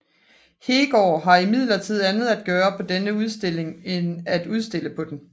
Heegaard havde imidlertid andet at gøre med denne udstilling end at udstille på den